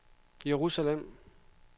Jerusalem